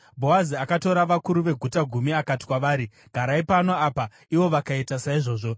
Bhoazi akatora vakuru veguta gumi akati kwavari, “Garai pano apa,” ivo vakaita saizvozvo.